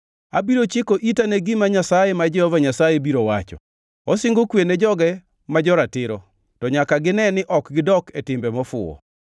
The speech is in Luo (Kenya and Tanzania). Abiro chiko ita ne gima Nyasaye, ma Jehova Nyasaye biro wacho; osingo kwe ne joge ma joratiro, to nyaka gine ni ok gidok e timbe mofuwo.